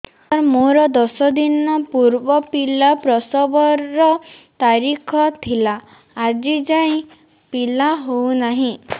ସାର ମୋର ଦଶ ଦିନ ପୂର୍ବ ପିଲା ପ୍ରସଵ ର ତାରିଖ ଥିଲା ଆଜି ଯାଇଁ ପିଲା ହଉ ନାହିଁ